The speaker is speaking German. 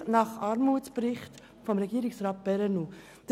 dies gemäss Armutsbericht von alt Regierungsrat Perrenoud.